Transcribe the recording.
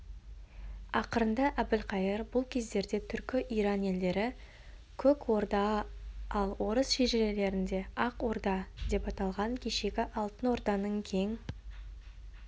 ақырында әбілқайыр бұл кездерде түркі иран елдері көк ордаал орыс шежірелерінде ақ ордадеп аталған кешегі алтын орданың кең